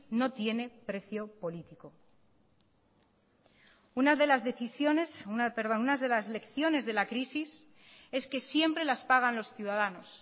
no tiene precio político una de las lecciones de la crisis es que siempre las pagan los ciudadanos